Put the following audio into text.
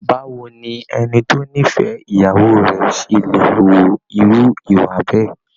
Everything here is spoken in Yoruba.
Báwo ni ẹni tó nífẹ̀ẹ́ ìyàwó rẹ̀ ṣe lè hu irú ìwà bẹ́ẹ̀?